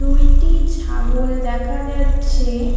দুইটি ছাগল দেখা যাচ্ছে।